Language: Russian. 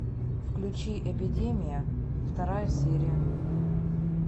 включи эпидемия вторая серия